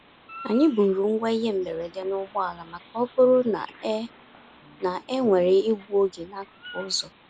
Anyị buuru ngwa ihe mberede n'ụgbọ ala maka ọ bụrụ na e na e nwere igbu oge n'akụkụ ụzọ.